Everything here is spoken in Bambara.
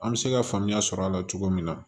An bɛ se ka faamuya sɔrɔ a la cogo min na